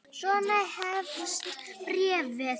Svona hefst bréfið